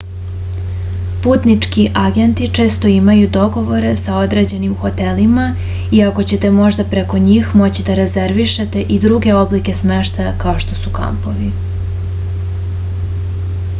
putnički agenti često imaju dogovore sa određenim hotelima iako ćete možda preko njih moći da rezervišete i druge oblike smeštaja kao što su kampovi